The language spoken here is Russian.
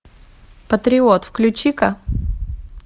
патриот включи ка